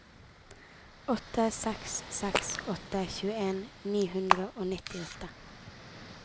åtte seks seks åtte tjueen ni hundre og nittiåtte